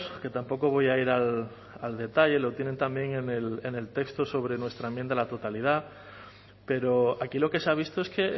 que tampoco voy a ir al detalle lo tienen también en el texto sobre nuestra enmienda a la totalidad pero aquí lo que se ha visto es que